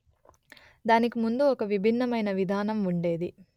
దానికి ముందు ఒక విభిన్నమైన విధానం ఉండేది